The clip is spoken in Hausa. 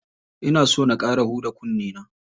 Ina so na ƙara huda kunne na.